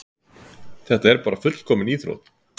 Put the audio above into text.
Þetta er bara fullkomin íþrótt.